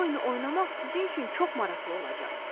Bu oyunu oynamaq sizin üçün çox maraqlı olacaq.